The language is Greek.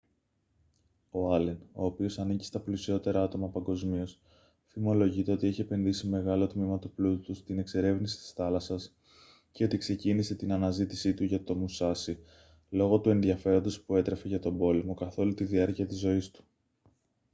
ο άλεν ο οποίος ανήκει στα πλουσιότερα άτομα παγκοσμίως φημολογείται ότι έχει επενδύσει μεγάλο τμήμα του πλούτου του στην εξερεύνηση της θάλασσας και ότι ξεκίνησε την αναζήτησή του για το μουσάσι λόγω του ενδιαφέροντος που έτρεφε για τον πόλεμο καθ' όλη τη διάρκεια της ζωής του